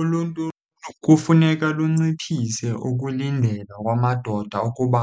Uluntu kufuneka lunciphise ukulindela kwamadoda ukuba